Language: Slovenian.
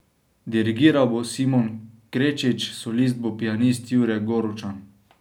Dirigiral bo Simon Krečič, solist bo pianist Jure Goručan.